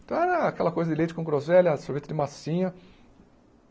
Então era aquela coisa de leite com groselha, sorvete de massinha.